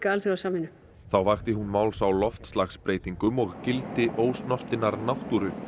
alþjóðasamvinnu þá vakti hún máls á loftslagsbreytingum og gildi ósnortinnar náttúru